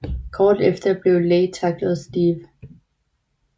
Kort efter bliver Lei tacklet af Steve